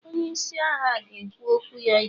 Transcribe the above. onye isi agha, ga-ekwu okwu ya echi